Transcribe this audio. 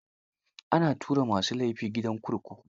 Ana tura ma su laifi gidan kurkuku.